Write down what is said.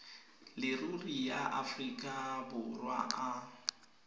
leruri ya aforika borwa a